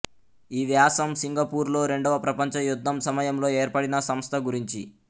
ఈ వ్యాసం సింగపూర్ లో రెండవ ప్రపంచ యుద్ధం సమయంలో ఏర్పడిన సంస్థ గురించి